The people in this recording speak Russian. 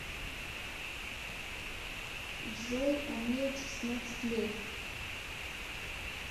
джой а мне шестнадцать лет